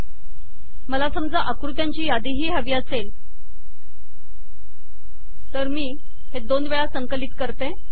म्हणून मला समजा आकृत्यांची यादीही हवी असेल तर मी दोन वेळा संकलित करते आणि हे झाले